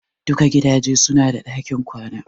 Duka gidaje su na da ɗakin kwana